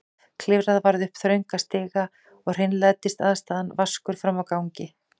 Klifra varð upp þrönga stiga og hreinlætisaðstaðan vaskur frammi á gangi.